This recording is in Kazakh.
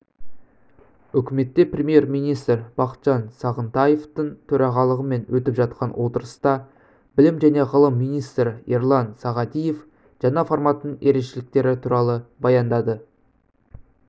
үкіметте премьер-министр бақытжан сағынтаевтың төрағалығымен өтіп жатқан отырыста білім және ғылым министрі ерлан сағадиев жаңа форматының ерекшеліктері туралы баяндады